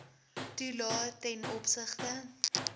toelae ten opsigte